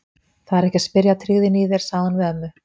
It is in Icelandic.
Það er ekki að spyrja að tryggðinni í þér, sagði hún við ömmu.